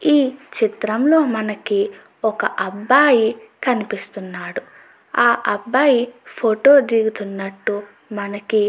ఈ చిత్రం లో మనకి ఒక అబ్బాయి కనిపిస్తునాడు. ఆ అబ్బాయి ఫోటో దిగునటు మనకి --